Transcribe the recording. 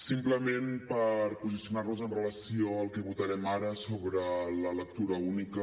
simplement per posicionar nos amb relació al que votarem ara sobre la lectura única